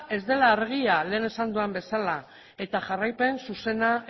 ez dela argia lehen esan dudan bezala eta jarraipen zuzena